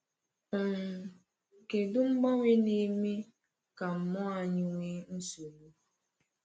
um Kedụ mgbanwe na-eme ka mmụọ anyị nwee nsogbu?